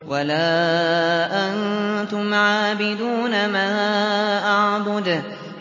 وَلَا أَنتُمْ عَابِدُونَ مَا أَعْبُدُ